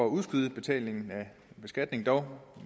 udskyde betalingen af skatten dog